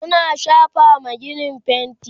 suna shafawa ginin fainti